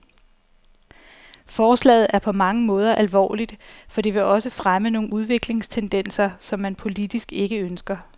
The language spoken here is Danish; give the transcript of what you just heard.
Forslaget er på mange måder alvorligt, for det vil også fremme nogle udviklingstendenser, som man politisk ikke ønsker.